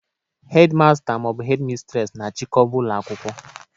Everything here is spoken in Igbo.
Hedi masta maọbụ Hedi mistres na-achịkọba ụlọ akwụkwọ